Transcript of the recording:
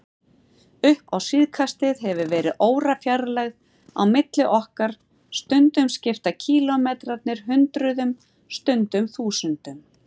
Upp á síðkastið hefur verið órafjarlægð á milli okkar, stundum skipta kílómetrarnir hundruðum, stundum þúsundum.